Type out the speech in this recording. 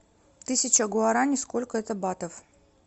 тысяча гуарани сколько это батов